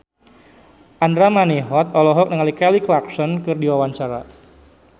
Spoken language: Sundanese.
Andra Manihot olohok ningali Kelly Clarkson keur diwawancara